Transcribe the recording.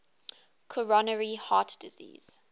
coronary heart disease